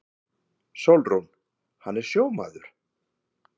SÓLRÚN: Hann er sjómaður.